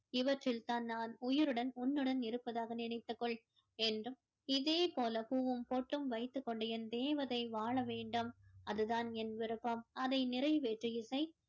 இவற்றில் தான் நான் உயிருடன் உன்னுடன் இருப்பதாக நினைத்துக் கொள் என்றும் இதே போல பூவும் பொட்டும் வைத்துக் கொண்டு என் தேவதை வாழ வேண்டும் அது தான் என் விருப்பம் அதை நிறைவேற்று இசை